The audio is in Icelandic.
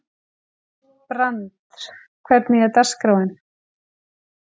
Brandr, hvernig er dagskráin?